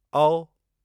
औ